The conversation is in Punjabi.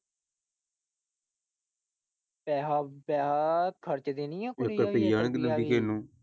ਪੈਸਾ ਪੈਸਾ ਖਰਚਦੀ ਨਹੀਂ ਆ ਇੱਕ ਰੁਪਇਆ ਨਹੀਂ ਦਿੰਦੀ ਕਿਸੇ ਨੂੰ।